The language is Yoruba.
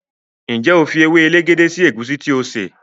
njé o fí ewe elegede sí egusi tí o ṣe?